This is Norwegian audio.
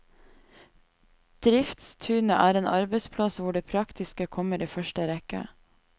Driftstunet er en arbeidsplass hvor det praktiske kommer i første rekke.